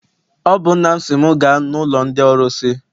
Ọ bụ nna m sị m gaa n'ụlọ ndị ọrụsị.